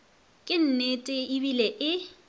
ke nnete e bile e